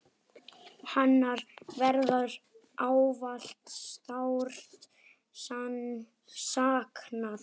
Hennar verður ávallt sárt saknað.